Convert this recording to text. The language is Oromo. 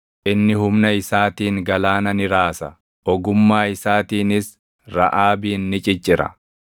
Inni humna isaatiin galaana ni raasa; ogummaa isaatiinis Raʼaabin ni ciccira.